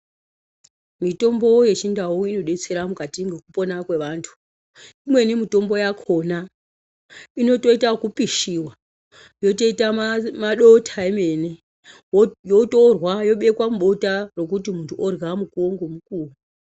Mitombo yechindau inodetsera mukati mwekupona kwevantu. Imweni mitombo yakhona inotoite ekupishiwa yotoita madota emene yotorwa yobekwa mubota rokuti muntu orya mukuwo ngomukuwo.